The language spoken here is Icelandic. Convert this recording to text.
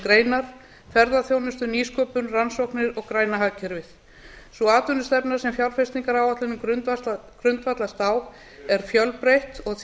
greinar ferðaþjónustu nýsköpun rannsóknir og græna hagkerfið sú atvinnustefna sem fjárfestingaráætlunin grundvallast á er fjölbreytt og því